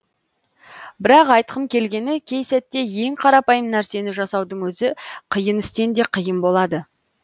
бірақ айтқым келгені кей сәтте ең қарапайым нәрсені жасаудың өзі қиын істен де қиын болады